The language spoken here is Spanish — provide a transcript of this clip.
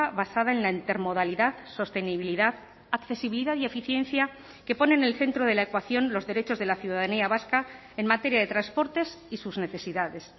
basada en la intermodalidad sostenibilidad accesibilidad y eficiencia que pone en el centro de la ecuación los derechos de la ciudadanía vasca en materia de transportes y sus necesidades